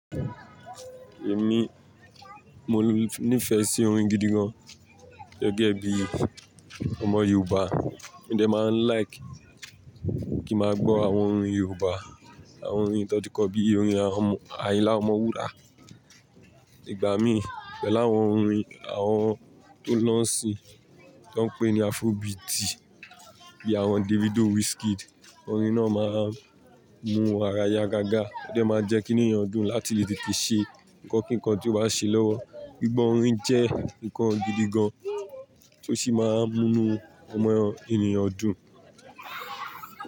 Èmi mo nífẹ̀ẹ́ sí orin gidi gan-an gẹ́gẹ́ bí ọmọ Yorùbá. Ó jẹ́ máa ń like kí n máa gbọ́ àwọn orin Yorùbá, àwọn orin tó ti kọ bí i orin Ayinla Omowura. Ìgbà mí, pe láwọn orin àwọn tó n lọ́ńsí tí wọ́n ń pè ní Afrobeati bí i àwọn Davido, Wizkid. Orin náà máa ń mú ara ya gágá, ó jẹ máa ń jẹ́ ki ínu ènìyàn dùn láti lè tete ṣe nǹkan kíkan tí ó bá ṣe lọ́wọ́. Gbigbọ́ orin jẹ́ nǹkan gidi gan-an tó sì máa ń múnú ọmọ ènìyàn dùn.